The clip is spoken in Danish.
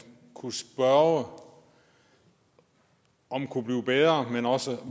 kunne spørge om kunne blive bedre men også